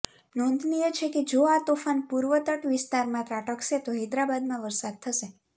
નોંધનીય છે કે જો આ તોફાન પૂર્વતટવિસ્તારમાં ત્રાટકશે તો હૈદરાબાદમાં વરસાદ થશે